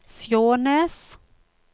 Skjånes